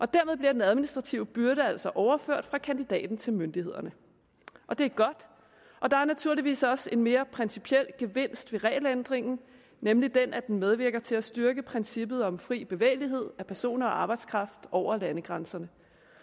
dermed bliver den administrative byrde altså overført fra kandidaten til myndighederne og det er godt der er naturligvis også en mere principiel gevinst ved regelændringen nemlig den at den medvirker til at styrke princippet om fri bevægelighed af personer og arbejdskraft over landegrænserne